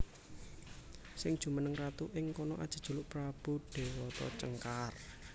Sing jumeneng ratu ing kono ajejuluk Prabu Déwata Cengkar